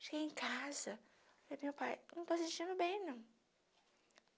Cheguei em casa e falei para o meu pai, não estou me sentindo bem não.